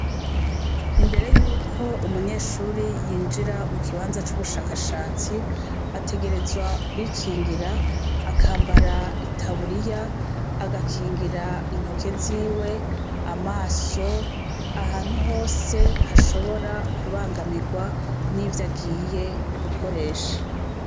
Imbere yuko umunyeshure yinjira mukibanza c'ubushakashatsi ategerezwa kwikingira akambara itaburiya, agakingira intoke ziwe, amaso, ahantu hose hashobora kubangamirwa nivyagiye gukoresha.